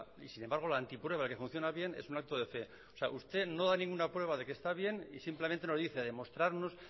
y sin embargo la antiprueba que funciona bien es un acto de fe o sea usted no da ninguna prueba de que está bien y simplemente nos dice demostrarnos